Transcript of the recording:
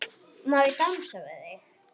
Má ég dansa við þig?